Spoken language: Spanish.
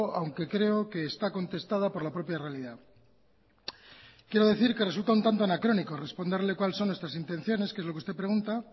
aunque creo que está contestada por la propia realidad quiero decir que resulta un tanto anacrónico responderle cuál son nuestras intenciones que es lo que usted pregunta